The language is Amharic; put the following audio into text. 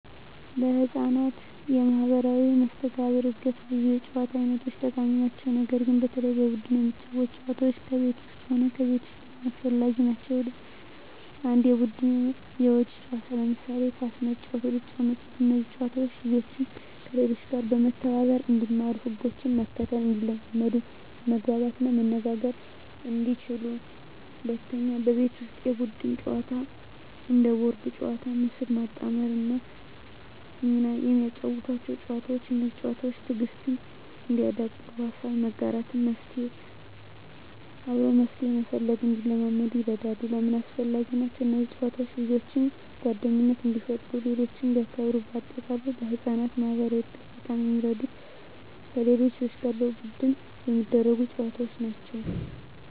ለሕፃናት የማኅበራዊ መስተጋብር እድገት ብዙ የጨዋታ አይነቶች ጠቃሚ ናቸው። ነገር ግን በተለይ በቡድን የሚጫወቱ ጨዋታዎች ከቤት ውስጥም ሆነ ከቤት ውጭ በጣም አስፈላጊ ናቸው። 1. የቡድን የውጭ ጨዋታዎች ለምሳሌ ኳስ መጫወት፣ ሩጫ ጨዋታዎች እነዚህ ጨዋታዎች ልጆችን፦ ከሌሎች ጋር መተባበር እንዲማሩ ህጎችን መከተል እንዲለምዱ መግባባት እና መነጋገር እንዲችሉ 2. የቤት ውስጥ የቡድን ጨዋታዎች እንደ ቦርድ ጨዋታዎች፣ ምስል ማጣጣም ወይም ሚና የሚያጫውቱ ጨዋታዎች። እነዚህ ጨዋታዎች፦ ትዕግሥት እንዲያዳብሩ፣ ሀሳብ መጋራት እና አብሮ መፍትሄ መፈለግ እንዲለምዱ ይረዳሉ። 3. ለምን አስፈላጊ ናቸው? እነዚህ ጨዋታዎች ልጆችን፦ ጓደኝነት እንዲፈጥሩ ሌሎችን እንዲያክብሩ -በ አጠቃላይ: ለሕፃናት የማኅበራዊ እድገት በጣም የሚረዱት ከሌሎች ልጆች ጋር በቡድን የሚደረጉ ጨዋታዎች ናቸው።